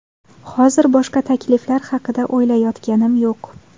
Hozir boshqa takliflar haqida o‘ylayotganim yo‘q.